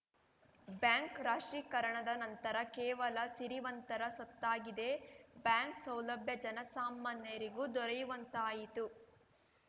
bank ರಾಷ್ಟ್ರೀಕರಣದ ನಂತರ ಕೇವಲ ಸಿರಿವಂತರ ಸತ್ತಾಗಿದೆ ಬ್ಯಾಂಕ್‌ ಸೌಲಭ್ಯ ಜನಸಾಮಾನ್ಯರಿಗೂ ದೊರೆಯುವಂತಾಯಿತು